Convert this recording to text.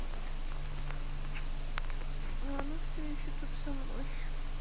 ну она все ещё тут со мной